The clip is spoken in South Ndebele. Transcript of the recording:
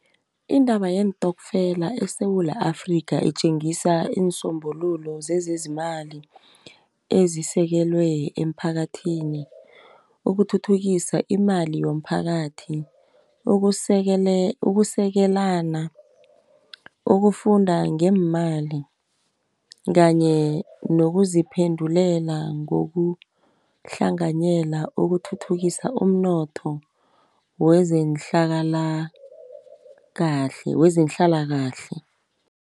Indaba yeentokfela eSewula Afrika itjengisa iinsombululo zezezimali ezisekelwe emphakathini. Ukuthuthukisa imali yomphakathi ukusekelana ukufunda ngeemali kanye nokuziphendulela ukuhlanganyela ukuthuthukisa umnotho wezehlalakahle.